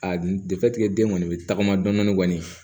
A defitisigɛ den kɔni be tagama dɔɔnin kɔni